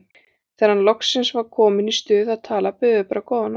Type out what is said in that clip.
Þegar hann loksins var kominn í stuð að tala buðu þeir bara góða nótt!